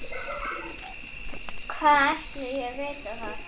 Hvað ætli ég viti það.